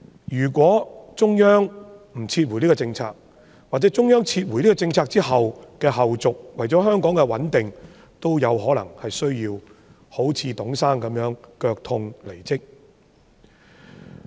如果中央不撤回這項政策，或者作為中央撤回這項政策後的後續，為了香港的穩定，特首亦有可能需要像董先生那樣腳痛離職。